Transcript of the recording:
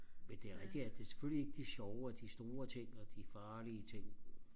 men det er rigtigt at det er selvfølgelig ikke de sjove og de store ting og de farlige ting